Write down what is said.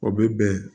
O bɛ bɛn